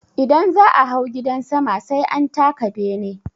Idan za'a hau gidan sama sai an taka bene.